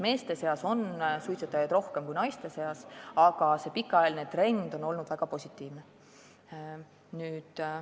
Meeste seas on suitsetajaid rohkem kui naiste seas, aga üldine pikaajaline langustrend on olnud väga positiivne.